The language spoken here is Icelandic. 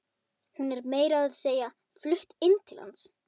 Hún er meira að segja flutt inn til hans.